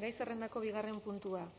gai zerrendako bigarren puntua